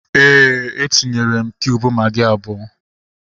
Éè, etinyere m kiub magị abụọ